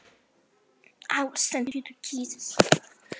Nú ég sagði honum að þú starfaðir sjálfstætt.